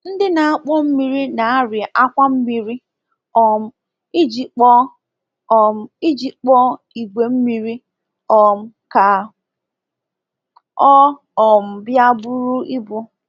Ndị na-akpọ mmiri na-arị akwa mmiri um iji kpọọ um iji kpọọ igwe mmiri um ka ọ um bịa buru ibu.